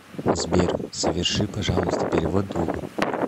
сбер соверши пожалуйста перевод другу